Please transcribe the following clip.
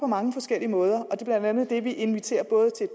mange forskellige måder og det er blandt andet det vi inviterer både til